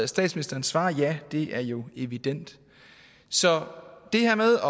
statsministeren svarer ja det er jo evident så det her med